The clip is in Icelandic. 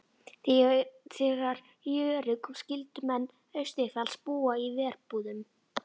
Þegar í verið kom skyldu menn austanfjalls búa í verbúðum.